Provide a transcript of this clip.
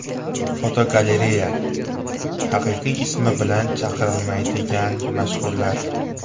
Fotogalereya: Haqiqiy ismi bilan chaqirilmaydigan mashhurlar.